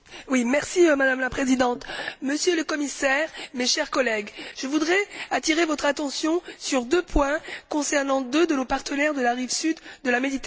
Madame la Présidente, Monsieur le Commissaire, mes chers collègues, je voudrais attirer votre attention sur deux points concernant deux de nos partenaires de la rive sud de la Méditerranée.